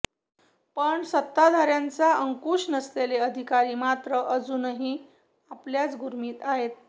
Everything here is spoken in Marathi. पण सत्ताधाऱ्यांचा अंकुश नसलेले अधिकारी मात्र अजूनही आपल्याच गुर्मित आहेत